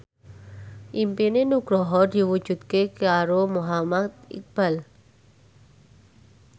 impine Nugroho diwujudke karo Muhammad Iqbal